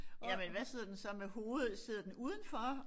Jamen hvad sidder den så med hovedet sidder den udenfor